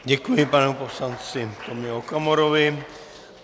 Děkuji panu poslanci Tomio Okamurovi.